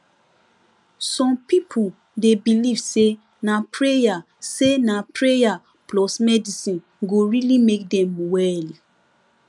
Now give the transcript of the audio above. some people dey believe say na prayer say na prayer plus medicine go really make dem well